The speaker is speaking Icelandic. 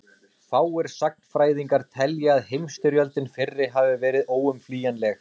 fáir sagnfræðingar telja að heimsstyrjöldin fyrri hafi verið óumflýjanleg